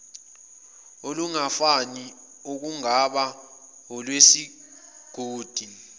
olungafani okungaba olwesigodi